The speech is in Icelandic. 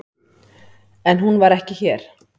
En hún var ekki hér.